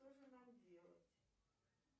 что же нам делать